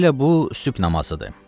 Hələ bu sübh namazıdır.